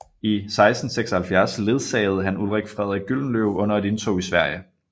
I 1676 ledsagede han Ulrik Frederik Gyldenløve under et indtog i Sverige